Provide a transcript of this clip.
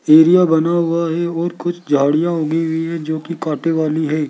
सीढ़ियां बना हुआ है और कुछ झाड़ियां उगी भी है जो की कांटे वाली हैं।